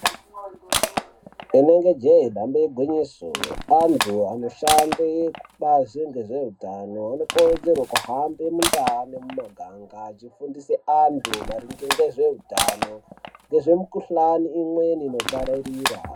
Inenge je dambe igwinyiso antu anoshande kubazi rezve utano anokurudzirwe kuhambe munda memumaganga achifundise antu maringe ngezveutano nezvemukuhlani imweni inopararira